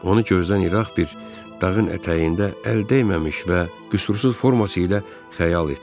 Onu gözdən iraq bir dağın ətəyində əl dəyməmiş və qüsursuz forması ilə xəyal etdim.